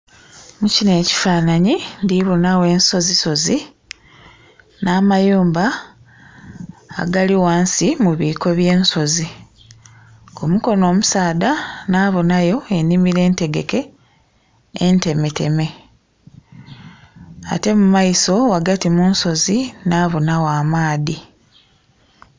Mu kino ekifananhi ndhi bonagho ensozisozi na mayumba agali ghansi mu biiko bye nsozi, ku mukono omusaadha nhabonayo enhimilo entegeke entemeteme ate mu maiso ghagati mu nsozi nhabonagho amaadhi